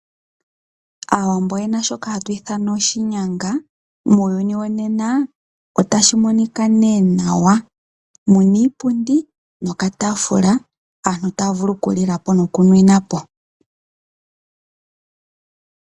Aawambo oye na shoka hatu ithana oshinyanga. Muuyuni wonena otashi monika nee nawa, mu na iipundi nokataafula, aantu taya vulu okulila po nokunwina po.